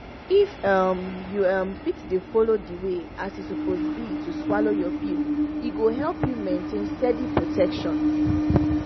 if um you um fit dey follow the way as e suppose be to swallow your pill e go help you maintain steady protection